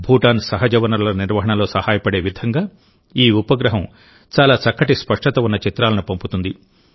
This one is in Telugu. భూటాన్ సహజ వనరుల నిర్వహణలో సహాయపడే విధంగా ఈ ఉపగ్రహం చాలా చక్కటి స్పష్టత ఉన్న చిత్రాలను పంపుతుంది